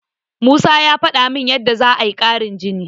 Musa ya faɗa min yadda za'a yi ƙarin jini.